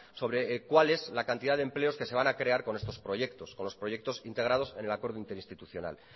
sobre cuál es la cantidad de empleos que se van a crear con estos proyectos con los proyectos integrados en el acuerdo interinstitucional